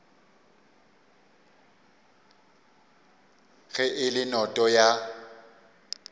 ge e le noto ya